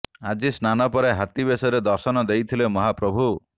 ଆଜି ସ୍ନାନ ପରେ ହାତୀ ବେଶରେ ଦର୍ଶନ ଦେଇଥିଲେ ମହାପ୍ରଭୁ